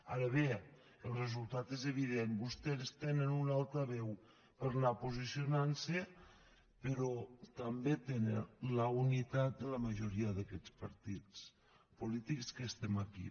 ara bé el resultat és evident vostès tenen un altaveu per anar posicionant se però també tenen la unitat de la majoria d’aquests partits polítics que estem aquí